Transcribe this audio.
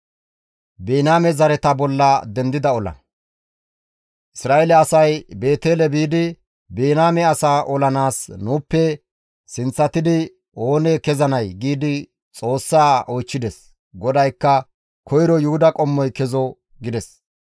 Isra7eele asay Beetele biidi, «Biniyaame asaa olanaas nuuppe sinththatidi ooni kezanee?» giidi Xoossaa oychchides. GODAYKKA, «Koyro Yuhuda qommoy kezo» gides.